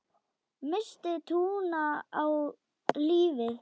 Missti trúna á lífið.